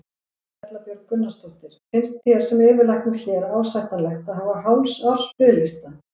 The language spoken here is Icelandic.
Erla Björg Gunnarsdóttir: Finnst þér sem yfirlæknir hér ásættanlegt að hafa hálfs árs biðlista?